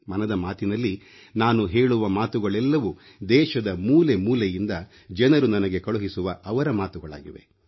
ಮನದ ಮಾತಿನಲ್ಲಿ ನಾನು ಹೇಳುವ ಮಾತುಗಳೆಲ್ಲವೂ ದೇಶದ ಮೂಲೆ ಮೂಲೆಯಿಂದ ಜನರು ನನಗೆ ಕಳುಹಿಸುವ ಅವರ ಮಾತುಗಳಾಗಿವೆ